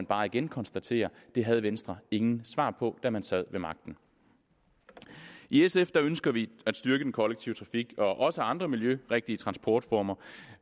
bare igen konstatere at det havde venstre ingen svar på da man sad ved magten i sf ønsker vi at styrke den kollektive trafik og også andre miljørigtige transportformer